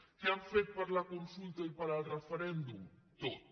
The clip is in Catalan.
què han fet per la consulta i pel referèndum tot